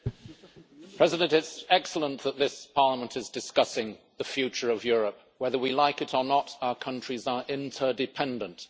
Mr President, it is excellent that this Parliament is discussing the future of Europe. Whether we like it or not, our countries are interdependent.